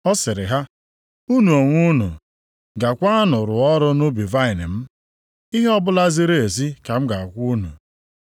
Ọ sịrị ha, ‘Unu onwe unu gaakwanụ rụọ ọrụ nʼubi vaịnị m, ihe ọbụla ziri ezi ka m ga-akwụ unu.’